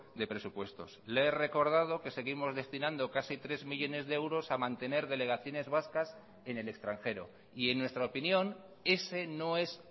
de presupuestos le he recordado que seguimos destinando casi tres millónes de euros a mantener delegaciones vascas en el extranjero y en nuestra opinión ese no es